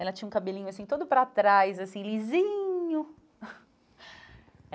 Ela tinha um cabelinho assim, todo para trás, assim, lisinho.